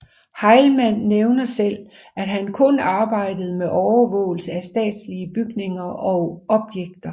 Heilmann hævder selv at han kun arbejdede med overvågelse af statslige bygninger og objekter